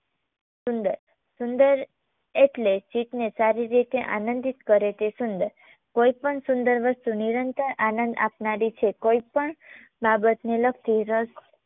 સુંદર સુંદર એટલે કે ચિત્તને સારી રીતે આનંદિત કરે તે સુંદર કોઈપણ સુંદર વસ્તુ નિરંતર આનંદ આપનારી છે કોઈ પણ બાબતને લગતી રસ